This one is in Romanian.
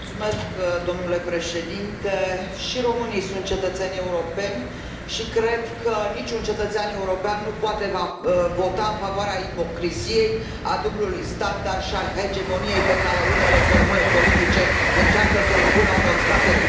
Domnule președinte, și românii sunt cetățeni europeni și cred că niciun cetățean european nu poate vota în favoarea ipocriziei, a dublului standard și a hegemoniei pe care unele formule politice încearcă să o impună unor state din Est.